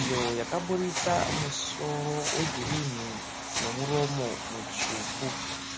iyo yakaburitsa musoro wegirini nemuromo mutsvuku.